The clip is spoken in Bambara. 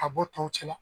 Ka bɔ tɔw cɛ la